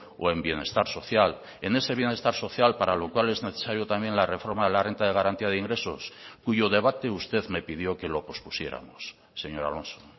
o en bienestar social en ese bienestar social para lo cual es necesario también la reforma de la renta de garantía de ingresos cuyo debate usted me pidió que lo pospusiéramos señor alonso